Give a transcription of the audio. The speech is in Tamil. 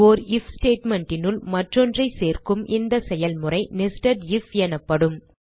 ஓர் ஐஎஃப் statement னுள் மற்றொன்றை சேர்க்கும் இந்த செயல்முறை nested ஐஎஃப் எனப்படும்